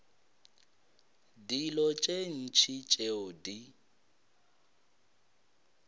dilo tše ntši tšeo di